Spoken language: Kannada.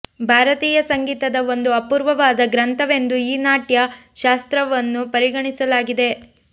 ಭಾರತೀಯ ಸಂಗೀತದ ಒಂದು ಅಪೂರ್ವವಾದ ಗ್ರಂಥವೆಂದು ಈ ನಾಟ್ಯ ಶಾಸ್ತ್ರವನ್ನು ಪರಿಗಣಿಸಲಾಗಿದೆ